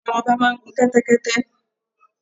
Àwọn ọba máa ń gun kẹ́tẹ́kẹ́tẹ́.